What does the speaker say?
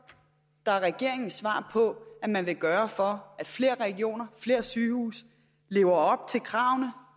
regeringens svar på det man vil gøre for at flere regioner flere sygehuse lever op til kravene